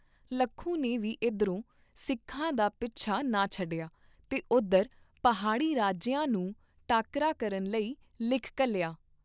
ਲੱਖੂ ਨੇ ਵੀ ਇਧਰੋਂ ਸਿੱਖਾਂ ਦਾ ਪਿੱਛਾ ਨਾ ਛੱਡਿਆ ਤੇ ਉਧਰ ਪਹਾੜੀ ਰਾਜਿਆਂ ਨੂੰ ਟਾਕਰਾ ਕਰਨ ਲਈ ਲਿਖ ਘੱਲਿਆ।